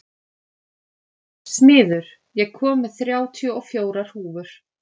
Smiður, ég kom með þrjátíu og fjórar húfur!